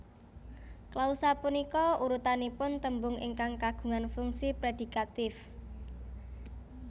Klausa punika urutanipun tembung ingkang kagungan fungsi predikatif